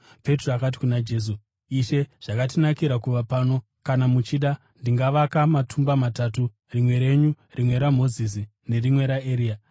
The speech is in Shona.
Petro akati kuna Jesu, “Ishe zvakatinakira kuva pano. Kana muchida ndingavaka matumba matatu, rimwe renyu, rimwe raMozisi nerimwe raEria.”